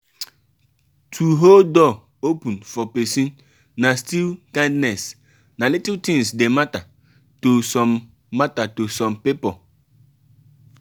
to hold door open for persin na still kindness na little things de matter to some matter to some pipo